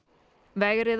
vegrið